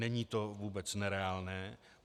Není to vůbec nereálné.